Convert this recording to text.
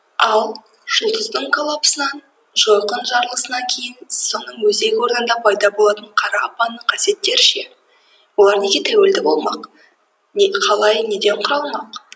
ал жұлдыздың коллапсынан жойқын жарылысынан кейін соның өзек орнында пайда болатын қара апанның қасиеттері ше олар неге тәуелді болмақ қалай неден құралмақ